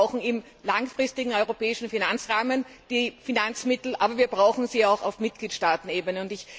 Wir brauchen im langfristigen europäischen Finanzrahmen die entsprechenden Finanzmittel, aber wir brauchen sie auch auf Mitgliedstaatenebene.